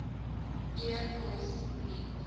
e pos het